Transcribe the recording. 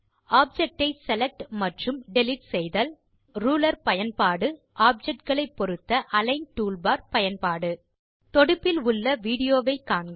object ஐ select மற்றும் delete செய்தல் மற்றும் ரூலர் பயன்பாடு ஆப்ஜெக்ட் களை பொருத்த அலிக்ன் டூல்பார் பயன்பாடு தொடுப்பில் உள்ள விடியோ வை காண்க